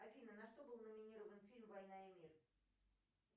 афина на что был номинирован фильм война и мир